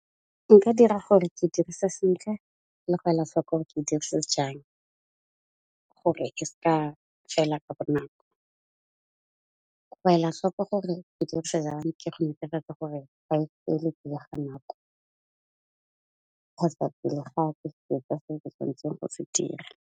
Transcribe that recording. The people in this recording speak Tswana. Ke ka dira gore ke dirisa sentle le go ela hloko gore ke dirisa jang, gore e ska fela ka bonako. Go ela hloko gore ke dirisa jang ke go netefatsa gore ga e fele pele ga nako, kgotsa pele ga go se dira.